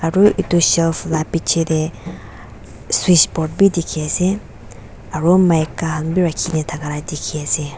ru edu shelf la bichae tae switchboard bi dikhiase aro maika khan bi rakhi kae na thaka la dikhiase.